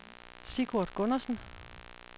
Sigurd Gundersen